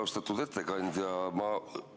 Austatud ettekandja!